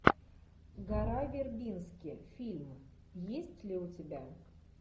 гора вербински фильм есть ли у тебя